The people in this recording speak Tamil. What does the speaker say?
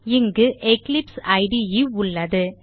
இங்கு எக்லிப்ஸ் இடே உள்ளது